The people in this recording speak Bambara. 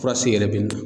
Fura se yɛrɛ bɛ nin na